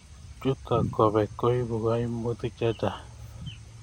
Chuto kobek koibu koimutik chechang